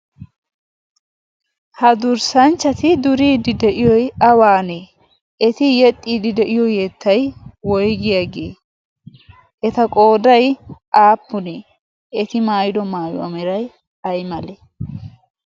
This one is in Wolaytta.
ha durssanchchati duriiddi de'iyoi awaanee eti yexxiiddi de'iyo yeettai woygii aa gee eta qoodai aappunee eti maayido maayuwaa meray ay malee?